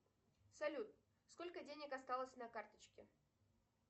салют сколько денег осталось на карточке